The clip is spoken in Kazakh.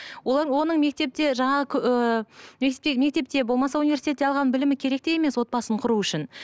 олар оның мектепте жаңағы ыыы мектепте мектепте болмаса университетте алған білімі керек те емес отбасын құру үшін